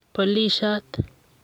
polisiot